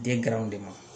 Den kɛraw de ma